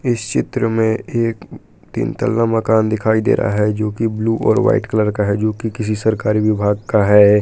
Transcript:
इस चित्र में एक तीन तल्ला मकान दिखाई दे रहा है जो की ब्लू और वाइट कलर का है जो कि किसी सरकारी विभाग का है।